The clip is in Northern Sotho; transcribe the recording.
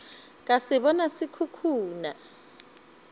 ka se bona se khukhuna